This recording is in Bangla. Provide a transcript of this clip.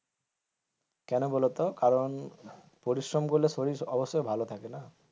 কেন বলতো কারণ পরিশ্রম করলে শরীর অবশ্যই ভালো থাকে না,